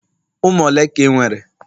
umunne ole ka i nwere?